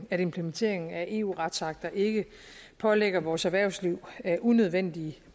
at implementeringen af eu retsakter ikke pålægger vores erhvervsliv unødvendige